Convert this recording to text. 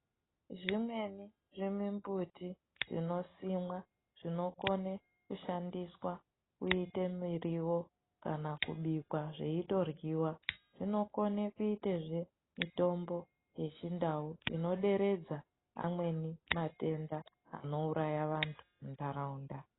Zvimweni zvimumbuti zvinosimwa zvinokone kushandiswa kuite mirivo kana kubikwa zveitoryiva. Zvinokone kuitezve mitombo yechindau inoderedza amweni matenda anouraya vantu muntaraunda.